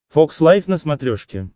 фокс лайв на смотрешке